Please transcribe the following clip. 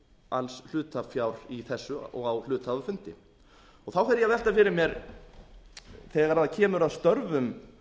alls hlutafjár í þessu og á hluthafafundi þá fer ég að velta fyrir mér þegar kemur að störfum